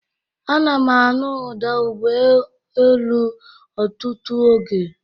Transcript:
Ana m anụ ụda ụgbọelu otutu oge